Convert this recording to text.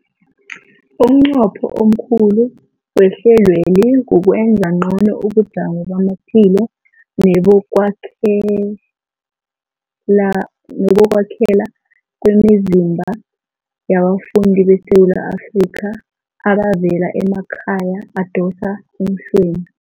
Umnqopho omkhulu wehlelweli kukwenza ngcono ubujamo bamaphilo nebokwakhela kwemizimba yabafundi beSewula Afrika abavela emakhaya adosa emhlweni.